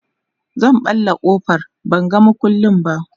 zan ɓalla ƙofar ban ga maƙulli ba